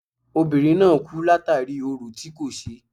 Obìnrin náà kú látàri orò tí kò ṣe.